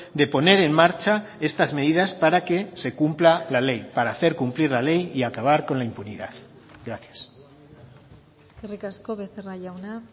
de poner en marcha estas medidas para que se cumpla la ley para hacer cumplir la ley y acabar con la impunidad gracias eskerrik asko becerra jauna